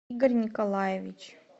игорь николаевич